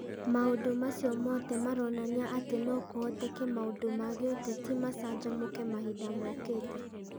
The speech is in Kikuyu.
Maũndũ macio mothe maronania atĩ no kũhoteke maũndũ ma gĩũteti macanjamũke mahinda mokĩte.